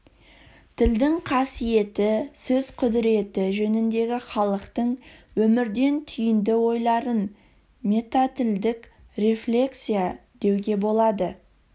тілдің қасиеті сөз құдіреті жөніндегі халықтың өмірден түйінді ойларын метатілдік рефлексия деуге болады